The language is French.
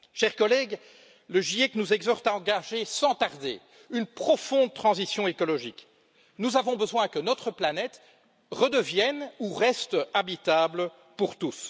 Chers collègues, le GIEC nous exhorte à engager sans tarder une profonde transition écologique nous avons besoin que notre planète redevienne ou reste habitable pour tous.